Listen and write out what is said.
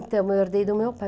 Então, eu herdei do meu pai.